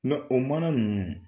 o mana ninnu